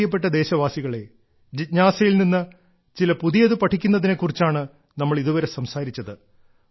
എന്റെ പ്രിയപ്പെട്ട ദേശവാസികളേ ജിജ്ഞാസയിൽ നിന്നും ചില പുതിയത് പഠിക്കുന്നതിനെ കുറിച്ചാണ് നമ്മൾ ഇതുവരെ സംസാരിച്ചത്